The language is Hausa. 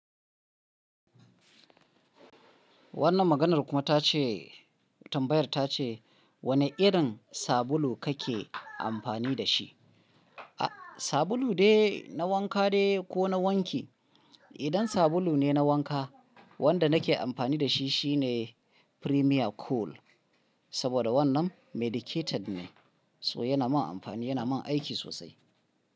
Wannan maganar kuma ta ce, tambayar ta ce wane irin sabulu kake amfani da shi? A sabulu ne na wanka ne ko na wanki? Idan sabulu ne na wanka, wanda nake amfani da shi shine Premier Cool, saboda wannan medicated ne, so yana min amfani, yana min aiki sosai.